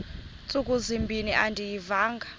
ntsuku zimbin andiyivanga